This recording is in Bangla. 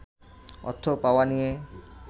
অর্থ পাওয়া নিয়ে